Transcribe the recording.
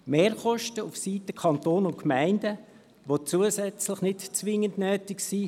Mehrkosten auf Seiten des Kantons und der Gemeinden, die zusätzlich nicht zwingend nötig sind.